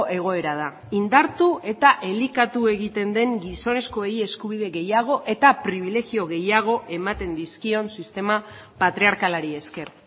egoera da indartu eta elikatu egiten den gizonezkoei eskubide gehiago eta pribilegio gehiago ematen dizkion sistema patriarkalari esker